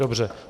Dobře.